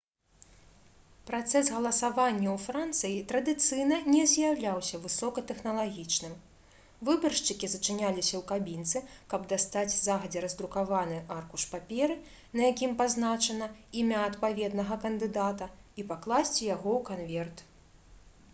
працэс галасавання ў францыі традыцыйна не з'яўляўся высокатэхналагічным выбаршчыкі зачыняліся ў кабінцы каб дастаць загадзя раздрукаваны аркуш паперы на якім пазначана імя адпаведнага кандыдата і пакласці яго ў канверт